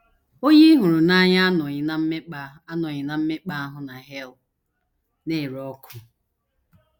Onye ị hụrụ n’anya anọghị ná mmekpa anọghị ná mmekpa ahụ na hel na - ere ọkụ.